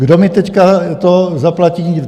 Kdo mi to teď zaplatí?